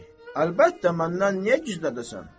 Əlbəttə, məndən niyə gizlədərsən?